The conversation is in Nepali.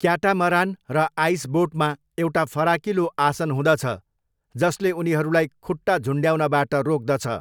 क्याटामरान र आइसबोटमा एउटा फराकिलो आसन हुँदछ जसले उनीहरूलाई खुट्टा झुन्ड्याउनबाट रोक्दछ।